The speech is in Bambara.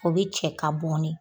O be cɛ k'a bɔn ne.